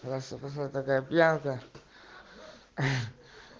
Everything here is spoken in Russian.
хорошо пошла такая пьянка